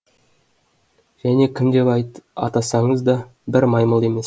және кім деп атасаңыз да бір маймыл емес